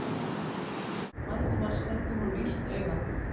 Valdimar sendi honum illt auga.